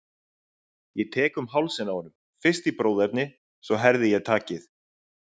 Ég tek um hálsinn á honum, fyrst í bróðerni, svo herði ég takið.